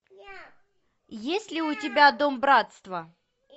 есть ли у тебя дом братства